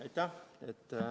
Aitäh!